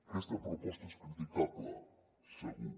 aquesta proposta és criticable segur